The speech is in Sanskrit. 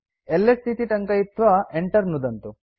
एलएस इति टङ्कयित्वा enter नुदन्तु